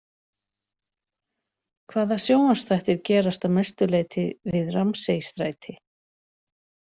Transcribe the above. Hvaða sjónvarpsþættir gerast að mestu leyti við Ramsay-stræti?